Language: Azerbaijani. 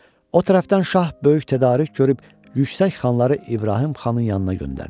O tərəfdən şah böyük tədarük görüb yüksək xanları İbrahim xanın yanına göndərdi.